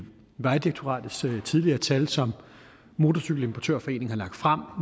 vejdirektoratets tidligere tal som motorcykel importør foreningen har lagt frem